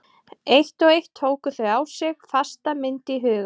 Eitt og eitt tóku þau á sig fasta mynd í huga